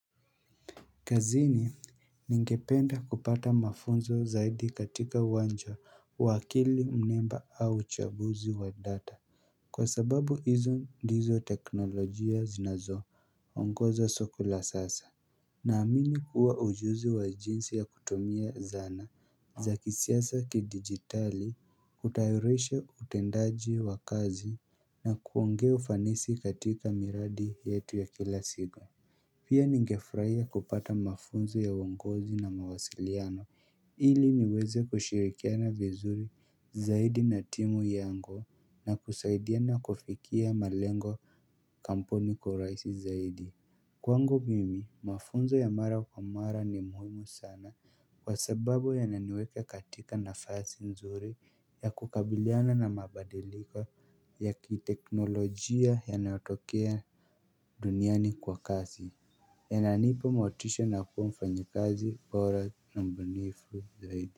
Kazini ningependa kupata mafunzo zaidi katika uwanja wa akili, mimba au uchabuzi wa data Kwa sababu hizo ndizo teknolojia zinazo ongoza soko la sasa Naamini kuwa ujuzi wa jinsi ya kutumia zana za hisia za kidigitali hutayarisha utendaji wa kazi na kuongeza ufanisi katika miradi yetu ya kila siku Pia ningefurahia kupata mafunzo ya uongozi na mawasiliano ili niweze kushirikiana vizuri zaidi na timu yango na kusaidia na kufikia malengo kampuni kwa uraisi zaidi Kwangu mimi mafunzo ya mara kwa mara ni muhimu sana kwa sababu yananiweka katika nafasi nzuri ya kukabiliana na mabadiliko ya kiteknolojia yanayotokea duniani kwa kazi inanipa motisha na kuwa mfanyakazi bora na mbunifu zaidi.